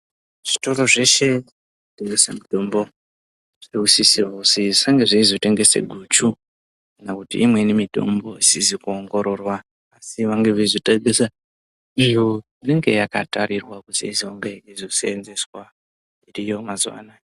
Zvitoro zveshe zvinotengesa mitombo, zvinosisawo kuti zvisange zveitengese guchu kana kuti imweni mitombo isizi kuongororwa, asi vange veizotengesa iyo inenge yakatarirwa kuti izonge yeizoshandiswa ndiyo mazuwa anaa.